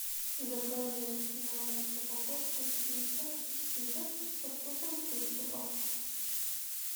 закажи на дом упаковку чипсов читос со вкусом кетчупа